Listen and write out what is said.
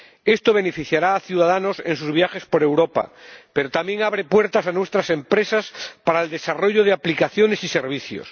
Esto beneficiará a los ciudadanos en sus viajes por Europa, pero también abre puertas a nuestras empresas para el desarrollo de aplicaciones y servicios.